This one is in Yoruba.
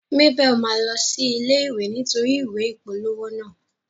Mabel ma lọ sí ilé ìwé nítorí ìwé ìpolówó naa.